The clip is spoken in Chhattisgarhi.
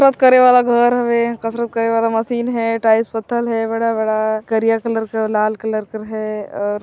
कसरत करें वाला घर हवे कसरत करे वाला मसीन हवे टाइल्स पत्थर हे बड़ा-बड़ा कारिया कलर का लाल कलर का हैंऔर--